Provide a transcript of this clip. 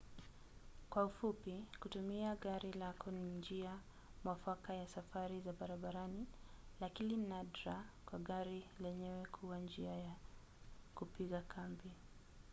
kwa kifupi kutumia gari lako ni njia mwafaka ya safari za barabarani lakini nadra kwa gari lenyewe kuwa njia ya kupiga kambi